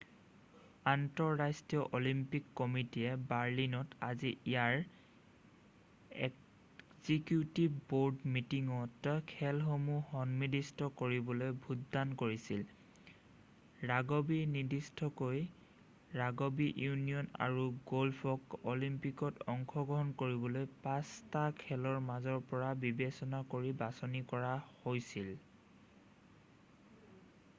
আন্তঃৰাষ্ট্ৰীয় অলিম্পিক কমিটিয়ে বাৰ্লিনত আজি ইয়াৰ এক্সিকিউটিভ বৰ্ড মিটিঙত খেলসমূহ সন্নিৱিষ্ট কৰিবলৈ ভোটদান কৰিছিল৷ ৰাগবি নিৰ্দিষ্টকৈ ৰাগবি ইউনিয়ন আৰু গ'ল্ফক অলিম্পিকত অংশগ্ৰহণ কৰিবলৈ 5 টা খেলৰ মাজৰ পৰা বিবেচনা কৰি বাছনি কৰা হৈছিল৷